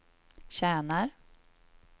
tjänar